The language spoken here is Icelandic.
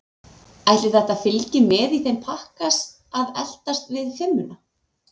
Ætli þetta fylgi með í þeim pakka að eltast við fimmuna?